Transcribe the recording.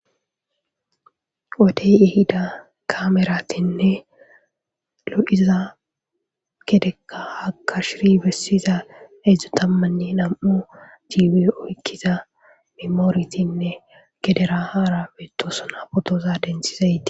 wodey ehida kaameratinne lo7iza gedekka akashiri bessiza edzdzu tammanne nam7u jiibi oykkiza memooretinne gedera haara beetosuna potoza densizayti